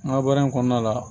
N ka baara in kɔnɔna la